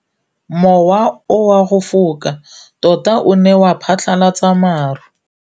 Mowa o wa go foka tota o ne wa phatlalatsa maru.